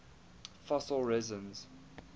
fossil resins